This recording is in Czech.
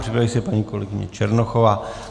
Připraví se paní kolegyně Černochová.